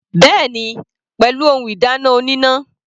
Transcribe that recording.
Bẹ́ẹ̀ni, pẹ̀lú ohun ìdáná oníná.